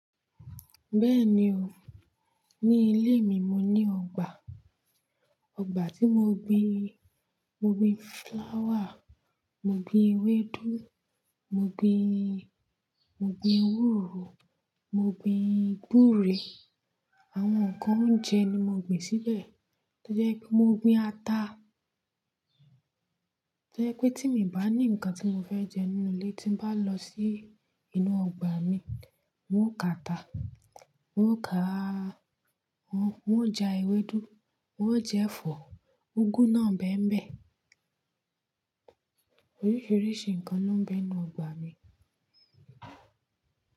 Bẹ́ẹ̀ni o, ní ilé mi mo ní ọgbà, ọgbà tí mo gbin, mo gbin flower, mo gbin ewédú, mo gbin, mo gbin ewúro, mo gbin gbúre, àwọn nǹkan oúnjẹ ni mo gbìn síbẹ̀. Tojẹ̀ n pé mo gbin ata. Tó jẹ̀ wí pé tí mi bá ní ǹkan tí mo fẹ́ jẹ nínú ilé tí n bá lọ sí inú ọgbà mi, n ó ka ata, n ó ka-- n ó ja ewédú, n ó jẹ ẹ̀fọ́, úgú náà bèénbẹ̀. Oríṣiríṣi ǹkan ló n bẹ nu ọgbà mi.